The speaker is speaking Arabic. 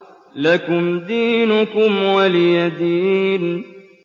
لَكُمْ دِينُكُمْ وَلِيَ دِينِ